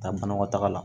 Taa banakɔtaga la